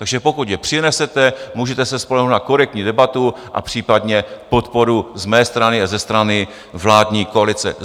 Takže pokud je přinesete, můžete se spolehnout na korektní debatu a případně podporu z mé strany a ze strany vládní koalice.